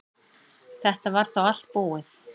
Þetta var þá allt búið.